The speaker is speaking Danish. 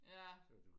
ja